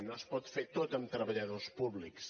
no es pot fer tot amb treballadors públics